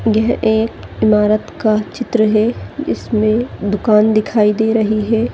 यह एक इमारत का चित्र है इसमें दुकान दिखाई दे रही है ।